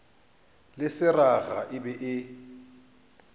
le seraga e be e